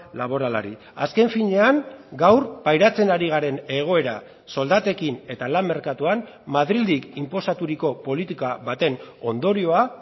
laboralari azken finean gaur pairatzen ari garen egoera soldatekin eta lan merkatuan madrildik inposaturiko politika baten ondorioa